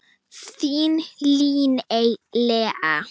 Þín Líney Lea.